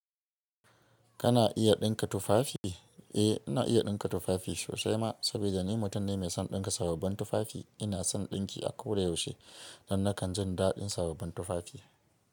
Kana iya dinka tufafi? Eh, ina iya ɗinka tufafi sosai ma saboda ni mutum ne mai son ɗinka sababbin tufafi. Ina son ɗinki a koda yaushe don nakan jin daɗin sabobbin tufafi.